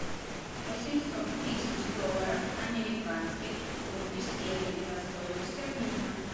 восемьсот тысяч долларов американских в фунты стерлинга стоимость обмена